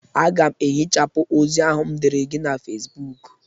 Aga m ehichapụ ozi ahụ m dere gị na Fesibuuku.